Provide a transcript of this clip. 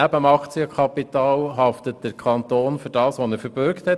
Neben dem Aktienkapital haftet der Kanton für das, was er verbürgt hat.